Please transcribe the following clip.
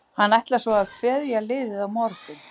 Hann ætlar svo að kveðja liðið á morgun.